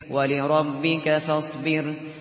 وَلِرَبِّكَ فَاصْبِرْ